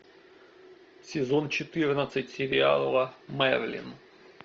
сезон четырнадцать сериала мерлин